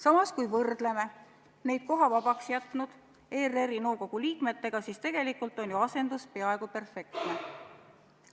Samas, kui võrdleme neid koha vabaks jätnud ERR-i nõukogu liikmetega, siis tegelikult on ju asendus peaaegu perfektne.